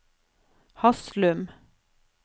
Haslum